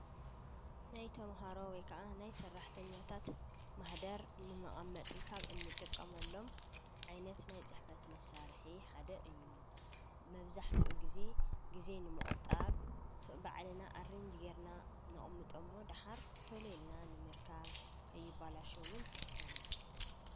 ናይቶምሃሮ ወይ ከዓ ናይ ሠራሕተኛታት ማኅደር ንመቓመጢ ኻብ እንጥቀመሎም ዓይነት ናይ ጽሕፈት መሳርሕ ሓደ እዩ መፍዛሕቲኡ ጊዜ ጊዜ ንምቝጣብ ትእ ባዕልና ኣርንጅ ጌርና ንቐሚጦሞ ደሃር ተልልና ንምርካብ ከይባላሸውን ይሕግዘና።